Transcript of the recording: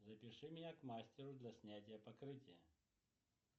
запиши меня к мастеру для снятия покрытия